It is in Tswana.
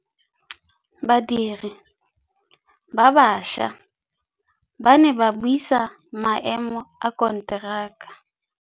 Badiri ba baša ba ne ba buisa maêmô a konteraka.